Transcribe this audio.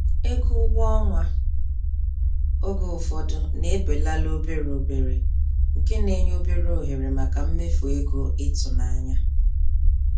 Ego ụgwọ ọnwa oge ụfọdụ na-ebelala obere obere nke na-enye obere ohere maka mmefu ego ịtụnanya.